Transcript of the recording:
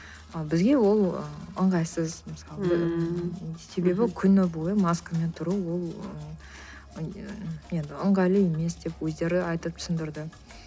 ы бізге ол ы ыңғайсыз мысалы себебі күні бойы маскамен тұру ол ыыы енді ыңғайлы емес деп өздері айтып түсіндірді